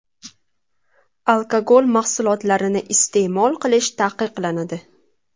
Alkogol mahsulotlarini iste’mol qilish taqiqlanadi.